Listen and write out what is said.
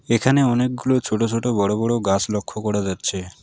এখানে অনেকগুলো ছোট ছোট বড়ো বড়ো গাস লক্ষ্য করা যাচ্ছে।